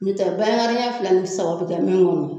N'o tɛ binkari ɲɛ fila ni saba bi kɛ min kɔnɔ